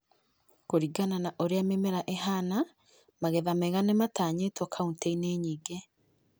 Kũringana na ũrĩa mĩmera ĩhana, magetha mega nĩmatanyĩtwo kauntĩ -ini nyingĩ